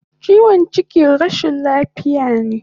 Chiwon chiki rashin lafiya ne